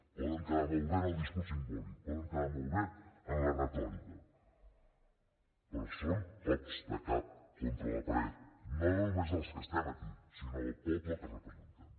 poden quedar molt bé en el discurs simbòlic poden quedar molt bé en la retòrica però són cops de cap contra la paret no només dels que estem aquí sinó del poble que representem